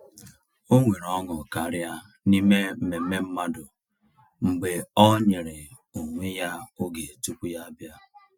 O nwere ọṅụ karịa n’ime mmemme mmadụ mgbe ọ nyere onwe ya oge tupu ya abịa.